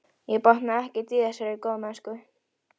Ég botnaði ekkert í þessari góðmennsku.